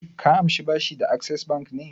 Ka amshi bashi da Access Bank ne?